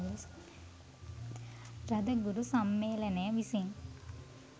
රදගුරු සම්මේලනය විසින්